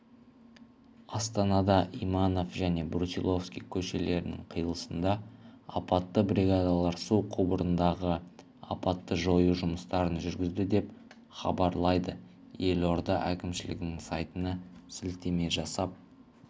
астанада иманов және брусиловский көшелерінің қиылысында апатты бригадалар су құбырындағы апатты жою жұмыстарын жүргізді деп хабарлайды елорда әкімшілігінің сайтына сілтеме жасап